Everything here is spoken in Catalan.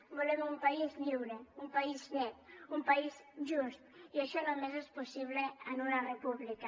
volem un país lliure un país net un país just i això només és possible en una república